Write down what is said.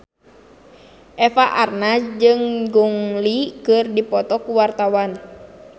Eva Arnaz jeung Gong Li keur dipoto ku wartawan